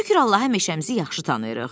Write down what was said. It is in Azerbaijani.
“Şükür Allaha, meşəmizi yaxşı tanıyırıq.”